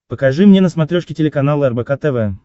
покажи мне на смотрешке телеканал рбк тв